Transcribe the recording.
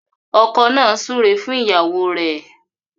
Ọkọ nà súré fún ìyàwó rẹ.